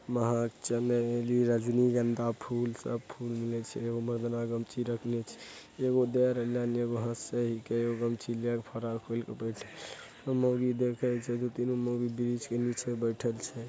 मार्च में रजनीगंधा फूल सब फूल नियर छै | एगो मरदाना गमछी राखल छै एगो दे रहले अन एगो हँसा ही के एगो गमछी ले क फरार हो गेलै | अ मोगी देखा ही छै अ तीनो माउगि बृछ के निचे बइठल छै |